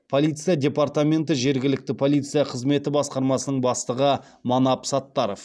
полиция департаменті жергілікті полиция қызметі басқармасының бастығы манап саттаров